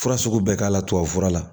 Fura sugu bɛɛ k'a la tubabufura la